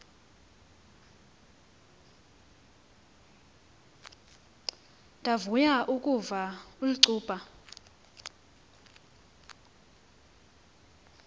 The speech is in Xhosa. ndavuya ukuva ulcuba